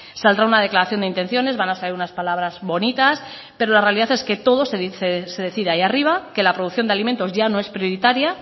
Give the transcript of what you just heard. saldrá una declaración de intenciones van a salir unas palabras bonitas pero la realidad es que todo se decide ahí arriba que la producción de alimentos ya no es prioritaria